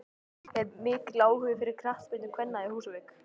Er mikill áhugi fyrir knattspyrnu kvenna á Húsavík?